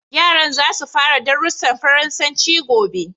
Yaran za su fara darussan Faransanci gobe.